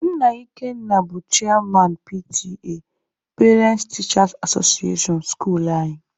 Nna Ikenna bụ cheyaman PTA(parents/teachers association) skuluu anyị.